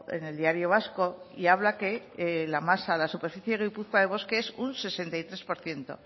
en el diario vasco y habla que la masa la superficie de guipúzcoa de bosque es un sesenta y tres por ciento